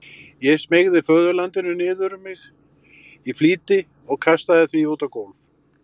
Ég smeygði föðurlandinu niður um mig í flýti og kastaði því út á gólf.